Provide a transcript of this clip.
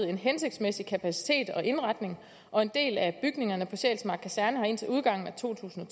en hensigtsmæssig kapacitet og indretning og en del af bygningerne på sjælsmark kaserne har indtil udgangen af to tusind og